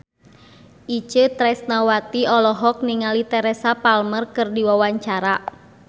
Itje Tresnawati olohok ningali Teresa Palmer keur diwawancara